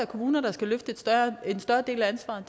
kommuner der skal løfte en større del af ansvaret